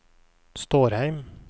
Stårheim